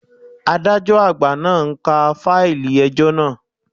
Adájọ́ àgbà náà ń ka fáìlì ẹjọ́ naa